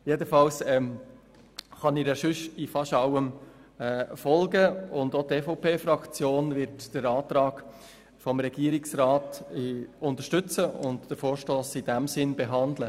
Jedenfalls kann ich ihr beinahe in allem folgen, und auch die EVP-Fraktion wird den Antrag des Regierungsrats unterstützen und den Vorstoss in dem Sinne behandeln.